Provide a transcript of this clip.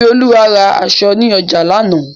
Ireolúwa ra aṣọ ni oja laana